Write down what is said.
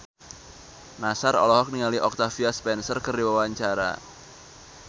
Nassar olohok ningali Octavia Spencer keur diwawancara